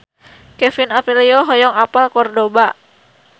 Kevin Aprilio hoyong apal Kordoba